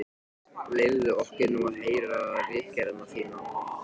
Leyfðu okkur nú að heyra ritgerðina þína!